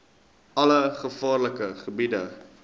alle gevaarlike gebiede